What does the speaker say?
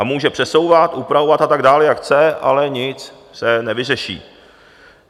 A může přesouvat, upravovat a tak dál jak chce, ale nic se nevyřeší.